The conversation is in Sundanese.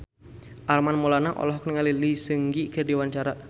Armand Maulana olohok ningali Lee Seung Gi keur diwawancara